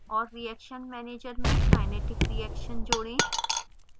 और reaction manager में kinetic reaction जोड़ें